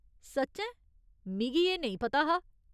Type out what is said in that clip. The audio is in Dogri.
सच्चैं ? मिगी एह् नेईं पता हा।